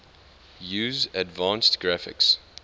use advanced graphics